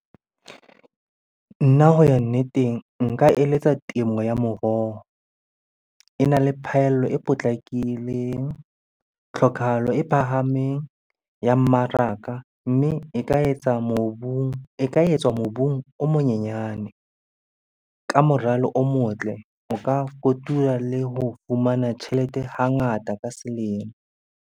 Nna ho ya nneteng, nka eletsa temo ya moroho. Ena le phaello e potlakileng, tlhokahalo e phahameng ya mmaraka. Mme e ka etsa mobung, e ka etswa mobung o monyenyane. Ka moralo o motle, o ka kotula le ho fumana tjhelete hangata ka selemo.